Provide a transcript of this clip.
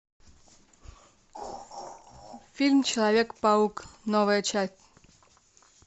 фильм человек паук новая часть